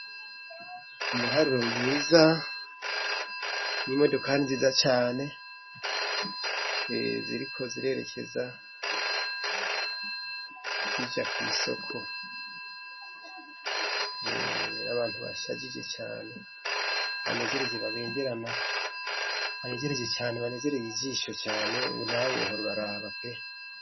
Umuharuro mwiza n'imodokani ziza cane ziriko zirerekeza zija ku isokon'abantu bashagije cane banejeje babengerana banegereje cane banebereye ibisho cane buhorora uraraba pe.